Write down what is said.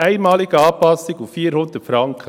Einmalige Anpassung auf 400 Franken.